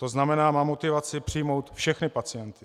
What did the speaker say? To znamená, má motivaci přijmout všechny pacienty.